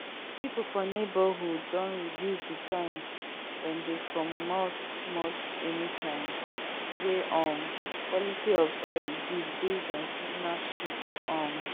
people for neighbourhood don reduce the time dem they comomot anytime wey um quality of air reduce base on seasonal shift um